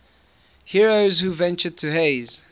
heroes who ventured to hades